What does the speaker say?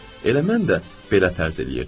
Elə mən də belə tərz eləyirdim.